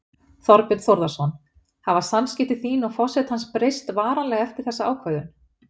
Þorbjörn Þórðarson: Hafa samskipti þín og forsetans breyst varanlega eftir þessa ákvörðun?